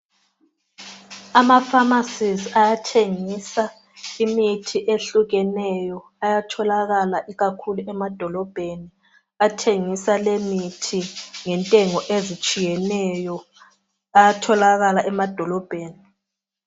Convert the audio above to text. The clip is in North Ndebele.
Ama pharmcies ayathengisa imithi ehlukeneyo, ayatholakala ikakhulu emadolobheni athengisa lemithi ngentengo ezitshiyeneyo, ayatholakala emadolobheni